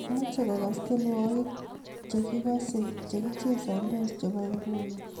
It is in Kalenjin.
Meche kogas tyenwogik chegigos chegichesantos chebo nguno